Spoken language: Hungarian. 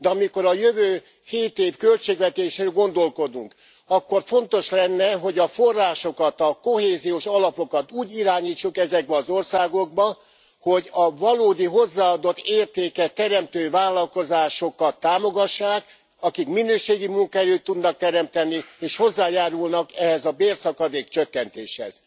De amikor a jövő hét év költségvetésén gondolkodunk, akkor fontos lenne, hogy a forrásokat, a kohéziós alapokat úgy irányítsuk ezekbe az országokba, hogy a valódi hozzáadott értéket teremtő vállalkozásokat támogassák, akik minőségi munkahelyet tudnak teremteni, és hozzájárulnak e bérszakadék csökkentéshez.